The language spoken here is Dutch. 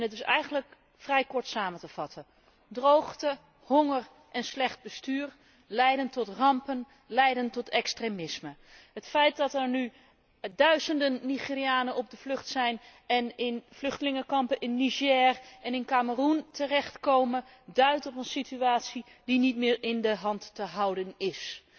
Het is eigenlijk vrij kort samen te vatten droogte, honger en slecht bestuur leiden tot rampen, leiden tot extremisme. Het feit dat er nu duizenden Nigerianen op de vlucht zijn en in vluchtelingenkampen in Niger en in Kameroen terechtkomen, duidt op een situatie die niet meer in de hand te houden is.